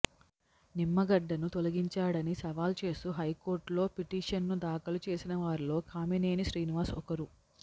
నిమ్మగడ్డను తొలగించడాన్ని సవాల్ చేస్తూ హైకోర్టులో పిటీషన్ను దాఖలు చేసిన వారిలో కామినేని శ్రీనివాస్ ఒకరు